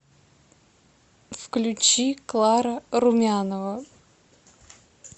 включи клара румянова